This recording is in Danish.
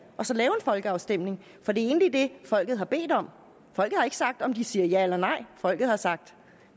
og så lave en folkeafstemning for det er egentlig det folket har bedt om folket har ikke sagt om de siger ja eller nej folket har sagt